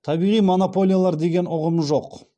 табиғи монополиялар деген ұғым жоқ